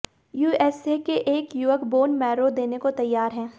USA के एक युवक बोन मैरो देने को तैयार है